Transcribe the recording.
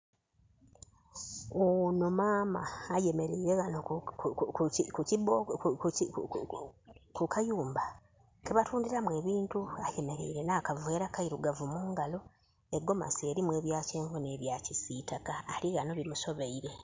Onho maama ayemereire ghano ku kayumba keba tundhiramu ebintu, ayemereire nha kavera keirugavu mungalo. Egomasi erimu ebya kyenvu nhe bya kisitaka ali ghanho bimusobeire.